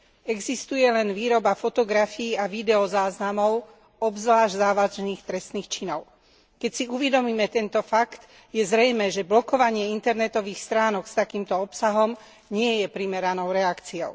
Existuje len výroba fotografií a videozáznamov obzvlášť závažných trestných činov. Keď si uvedomíme tento fakt, je zrejmé, že blokovanie internetových stránok s takýmto obsahom nie je primeranou reakciou.